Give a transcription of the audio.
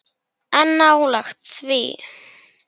En nálægt því.